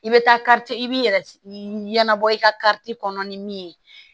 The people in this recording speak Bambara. I bɛ taa i b'i yɛrɛ ɲɛnabɔ i ka kɔnɔ ni min ye